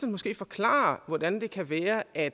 måske forklare hvordan det kan være at